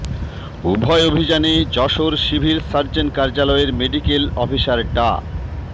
উভয় অভিযানে Jessore civil surgeon কার্যালয়ের মেডিকেল অফিসার ডা